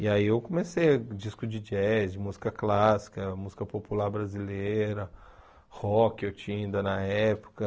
E aí eu comecei disco de jazz, música clássica, música popular brasileira, rock eu tinha ainda na época.